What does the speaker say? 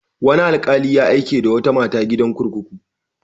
Wani alƙali ya aike da wata mata gidan kurkuku.